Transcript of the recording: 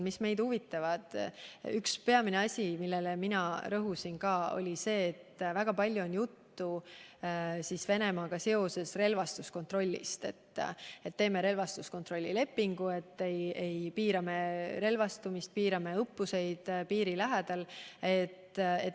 Üks peamine asi, millele ka mina rõhusin, oli see, et väga palju on Venemaaga seoses olnud juttu relvastuskontrollist: teeme relvastuskontrolli lepingu, piirame relvastumist ja piirame õppuseid piiri lähedal.